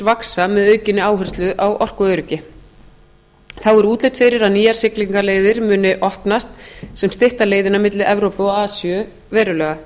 vaxa með aukinni áherslu á orkuöryggi þá er útlit fyrir að nýjar siglingaleiðir muni opnast sem stytta leiðina milli evrópu og asíu verulega